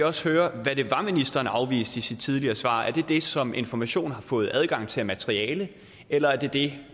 også høre hvad det var ministeren afviste i sit tidligere svar er det det som information har fået adgang til af materiale eller er det